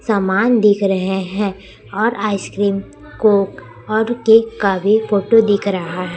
सामान दिख रहे हैं और आईस्क्रीम कोक और केक का भी फोटो दिख रहा है।